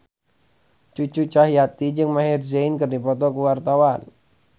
Cucu Cahyati jeung Maher Zein keur dipoto ku wartawan